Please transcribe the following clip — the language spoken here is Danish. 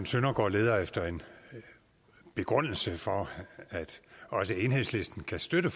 søndergaard leder efter en begrundelse for at også enhedslisten kan støtte